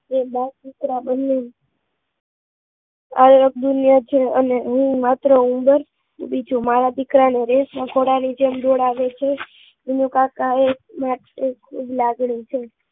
આ અગ્નાયત છે અને હું માત્ર હોમે વોર્ક કી બીજું મારા દીકરા ને રેસ ના ગોડા ની જેં દોડાવે છે વીનું કાકા એ એક માત્ર લાગણી છે